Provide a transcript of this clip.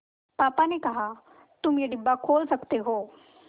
पापा ने कहा तुम ये डिब्बा खोल सकते हो